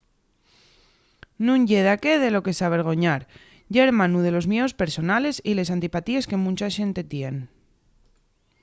nun ye daqué de lo que s’avergoñar: ye hermanu de los mieos personales y les antipatíes que muncha xente tien